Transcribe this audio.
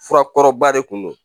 Fura kɔrɔba de kun don